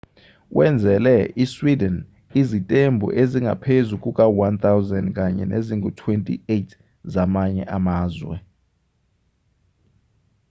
wenzele isweden izitembu ezingaphezu kuka-1,000 kanye nezingu-28 zamanye amazwe